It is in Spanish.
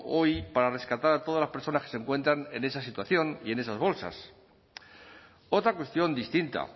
hoy para rescatar a todas las personas que se encuentran en esa situación y en esas bolsas otra cuestión distinta